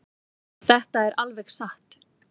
Þetta er alveg satt.